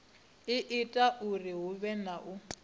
ita uri huvhe na u